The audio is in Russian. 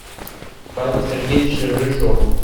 павел сергеевич рыжов